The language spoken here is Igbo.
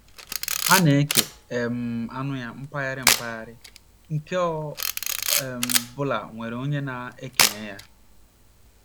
Ha na - eke um anụ ya, mpaghara, mpaghara nke ọ um bụla nwere onye a na - ekenye ya.